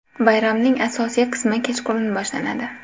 Bayramning asosiy qismi kechqurun boshlanadi.